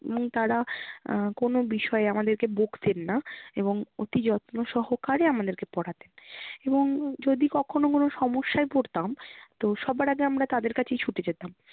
উম তারা আহ কোনো বিষয়ে আমাদেরকে বকতেন না। এবং অতি যত্ন সহকারে আমাদেরকে পড়াতেন এবং যদি কখনো কোনো সমস্যায় পড়তাম তো সবার আগে আমরা তাদের কাছেই ছুটে যেতাম।